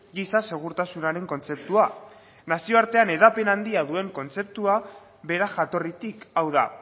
giza segurtasunaren kontzeptua nazio artean hedapen handia duen kontzeptua bera jatorritik hau da